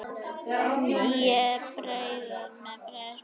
Það er breið spönn.